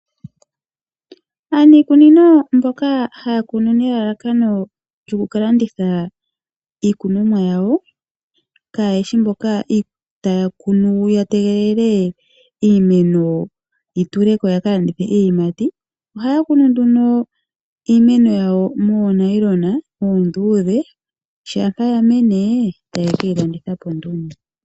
Aanikunino mboka haya kunu nelalakano lyokukalanditha iikunomwa yawo, kayeshi mboka taya kunu ya tegelele iimeno yi tuleko yakalandithe. Ohaya kunu nduno iimeno yawo moonayilona oondudhe shampa ya mene taye keyi landitha po nduno.